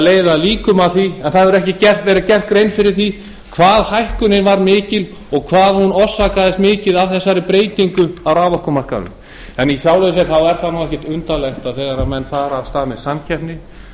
leiða líkum að því að ekki hefur verið gerð grein fyrir því hvað hækkunin varð mikil og hvað hún orsakaðist mikið af þessari breytingu á raforkumarkaðnum í sjálfu sér er það ekkert undarlegt að þegar menn fara af stað með samkeppni